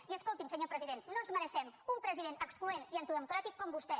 i escolti’m senyor president no ens mereixem un president excloent i antidemocràtic com vostè